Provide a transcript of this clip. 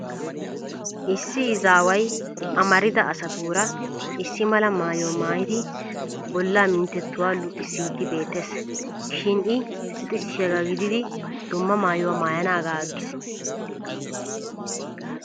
Issi izaaway amarida asatuura issi mala maayuwa maayidi bollaa minttetuwa luxissiiddi beettes. Shin I luxissiyaagaa giddiiddi dumma maayuwa maayanaagaa aggis.